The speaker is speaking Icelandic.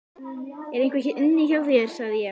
ER EINHVER INNI HJÁ ÞÉR, SAGÐI ÉG?